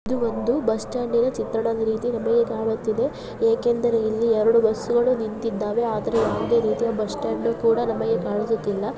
ಇದು ಒಂದು bus stand ನ ಚಿತ್ರಣದ ರೀತಿ ನಮಗೆ ಕಾಣುತ್ತಿದೆ ಏಕೆ ಎಂದರೆ ಇಲ್ಲಿ ಎರಡು ಬಸ್ಗಳು ನಿಂತಿದ್ದಾವೆ ಆದರೆ ಯಾವುದೇ ರೀತಿಯ ಬಸ್ ಸ್ಟಾಂಡ್ ಕೋಡಾ ನಮಗೆ ಕಾಣಿಸುತ್ತುಲಾ ..